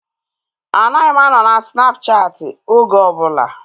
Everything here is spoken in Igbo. Anaghị m anọ na Snapchaati oge ọbụla